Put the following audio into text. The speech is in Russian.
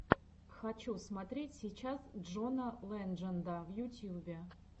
хочу смотреть сейчас джона ледженда в ютюбе